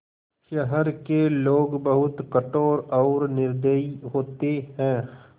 शहर के लोग बहुत कठोर और निर्दयी होते हैं